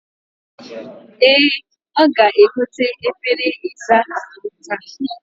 E, oga-egote efere isa ahu taa